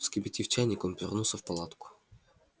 вскипятив чайник он вернулся в палатку